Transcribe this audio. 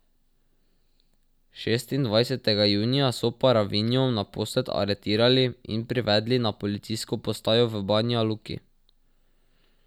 Šestindvajsetega junija so Paravinjo naposled aretirali in privedli na policijsko postajo v Banja Luki.